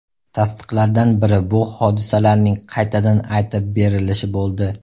Tasdiqlardan biri bu hodisalarning qaytadan aytib berilishi bo‘ldi.